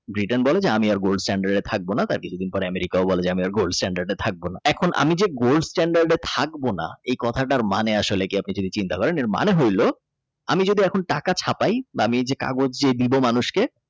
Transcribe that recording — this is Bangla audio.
Britain আমি আর Gold stand থাকবো না তার কিছু দিন পর America ও বলে যে Gold stand থাকবো না এখন আমি যে Gold stand থাকবো না এ কথাটার মানে আসলে কি আপনি যদি চিন্তা করেন এর মানে হইল আমি যদি এখন টাকা ছাপাই বা আমি এই যে কাগজ দিব মানুষকে।